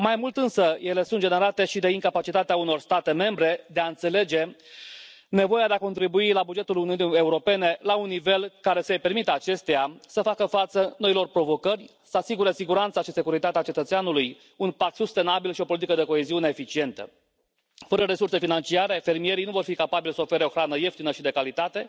Mai mult însă, ele sunt generate și de incapacitatea unor state membre de a înțelege nevoia de a contribui la bugetul Uniunii Europene la un nivel care să îi permită acesteia să facă față noilor provocări, să asigure siguranța și securitatea cetățeanului, un pact sustenabil și o politică de coeziune eficientă. Fără resurse financiare, fermierii nu vor fi capabili să ofere o hrană ieftină și de calitate,